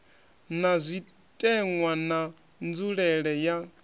ta zwitenwa na nzulelele ya